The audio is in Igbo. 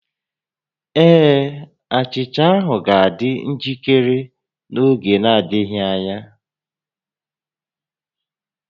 Ee, achicha ahụ ga-adị njikere n'oge adịghị anya